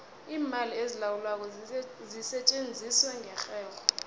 iimali ezilawulwako zisetjenziswa ngerherho